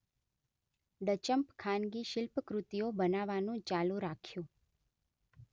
Duchamp ખાનગી શિલ્પકૃતિઓ બનાવવાનું ચાલુ રાખ્યું